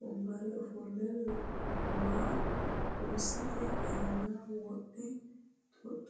wonbareera offole waa kurisette aanna wodhdhe xoxoo ittanni noo